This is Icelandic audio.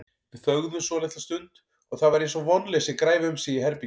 Við þögðum svolitla stund og það var eins og vonleysi græfi um sig í herberginu.